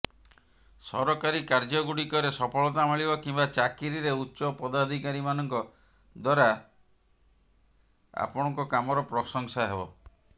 ସରକାରୀ କାର୍ଯ୍ୟଗୁଡ଼ିକରେ ସଫଳତା ମିଳିବ କିମ୍ବା ଚାକିରିରେ ଉଚ୍ଚ ପଦାଧିକାରିମାନଙ୍କ ଦ୍ବାରା ଆପଣଙ୍କ କାମର ପ୍ରଶଂସା ହେବ